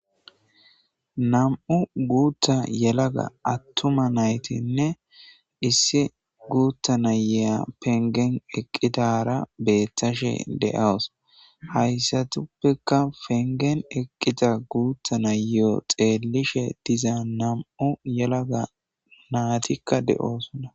nam'u guuta yelaga attuma naytinne issi guutta nayeya pengen eqqidara beettashe de'awus hayssatuppekka pengen eqqida guuta nayeo xeellishe diza nam'u yelaga naatikka de'oosona